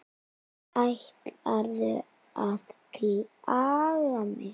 Ætlarðu að klaga mig?